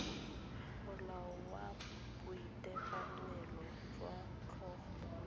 molao wa boitekanelo jwa tlhogo